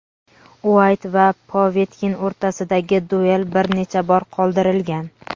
Uayt va Povetkin o‘rtasidagi duel bir necha bor qoldirilgan.